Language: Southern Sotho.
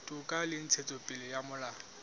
toka le ntshetsopele ya molao